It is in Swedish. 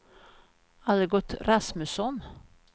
Algot Rasmusson